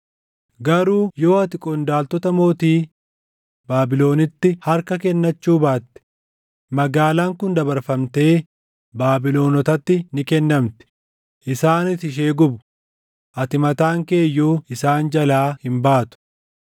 Garuu yoo ati qondaaltota mootii Baabilonitti harka kennachuu baatte magaalaan kun dabarfamtee Baabilonotatti ni kennamti; isaanis ishee gubu; ati mataan kee iyyuu isaan jalaa hin baatu.’ ”